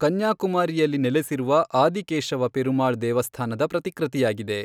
ಕನ್ಯಾಕುಮಾರಿಯಲ್ಲಿ ನೆಲೆಸಿರುವ ಆದಿಕೇಶವ ಪೆರುಮಾಳ್ ದೇವಸ್ಥಾನದ ಪ್ರತಿಕೃತಿಯಾಗಿದೆ.